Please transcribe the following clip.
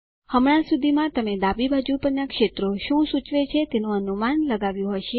હમણાં સુધીમાં તમે ડાબી બાજુ પરના ક્ષેત્રો શું સૂચવે છે તેનું અનુમાન લગાવ્યું હશે